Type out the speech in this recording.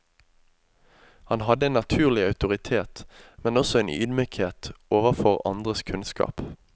Han hadde en naturlig autoritet, men også en ydmykhet overfor andres kunnskap.